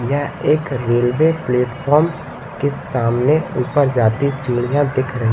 यह एक railway platform के सामने ऊपर जाती चिड़िया दिख रही--